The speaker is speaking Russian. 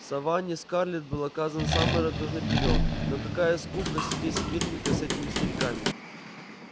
в саванне скарлетт был оказан самый радушный приём но какая скука сидеть смирненько с этими стариками